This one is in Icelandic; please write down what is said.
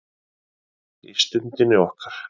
Í Stundinni okkar.